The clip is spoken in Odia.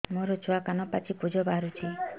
ମୋ ଛୁଆ କାନ ପାଚି ପୂଜ ବାହାରୁଚି